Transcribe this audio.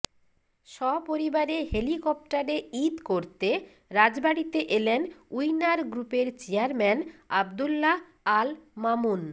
সপরিবারে হেলিকপ্টারে ঈদ করতে রাজবাড়ীতে এলেন উইনার গ্রুপের চেয়ারম্যান আবদুল্লাহ আল মামুন